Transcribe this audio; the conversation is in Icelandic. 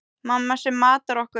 Mamma sem matar okkur.